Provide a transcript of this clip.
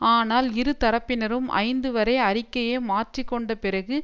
ஆனால் இருதரப்பினரும் ஐந்து வரை அறிக்கையை மாற்றி கொண்ட பிறகு